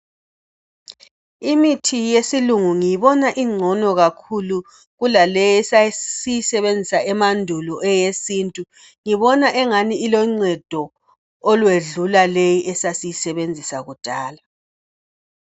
Imithi yesilungu ngiyibona ingcono kakhulu kulaleyi esasiyisebenzisa emandulo eyesintu..Ngibona engani iloncedo olwedlula leyi esasiyisebenzisa kudala.